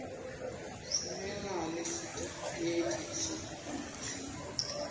tfumela lesitifiketi sekubhalisa